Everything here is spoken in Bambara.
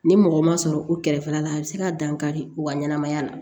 Ni mɔgɔ ma sɔrɔ u kɛrɛfɛla la a bɛ se ka dankari u ka ɲɛnɛmaya la